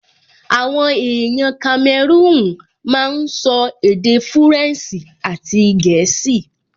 Àwọn èèyàn kamẹrúùn máa n sọ èdè fúrẹ̀nsì àti gẹ̀ẹ́sì